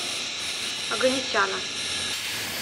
оганесяна